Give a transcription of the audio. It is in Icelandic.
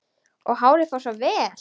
Og hárið fór svo vel!